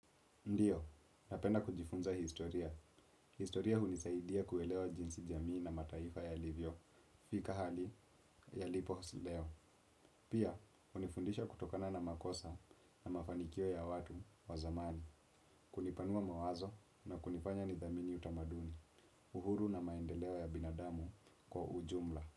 Ndiyo, napenda kujifunza historia. Historia hunisaidia kuelewa jinsi jamii na mataifa ya livyo, fika hali ya liposileo. Pia, unifundisha kutokana na makosa na mafanikio ya watu wa zamani, kunipanua mawazo na kunifanya nidhamini utamaduni, uhuru na maendeleo ya binadamu kwa ujumla.